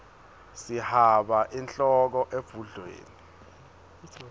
sihaba inhloko ebhudlweni